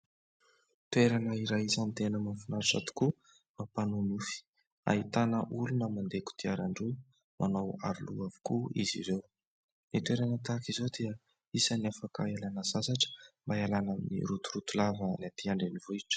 Toerana iray isan'ny tena mahafinaritra tokoa mampanonofy, ahitana olona mandeha kodiaran-droa manao aro loha avokoa izy ireo, ny toerana tahaka izao dia isan'ny afaka hialana sasatra mba hialana amin'ny rotoroto lavan'ny aty andrenivohitra.